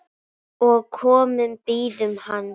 og komu bíðum hans